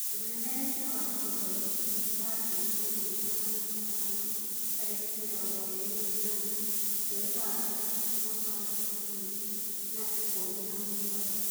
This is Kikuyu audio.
ũmemerekia wa Global Newsbeat wa ngiri imwe na magana matano tariki mĩrongo ĩrĩ na inyanya, mweri wa gatandatũ mwaka wa ngiri igĩrĩ na ikũmi na mũgwanja.